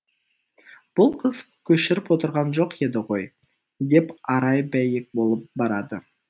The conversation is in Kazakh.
бұл қыз көшіріп отырған жоқ еді ғой деп арай бәйек болып барады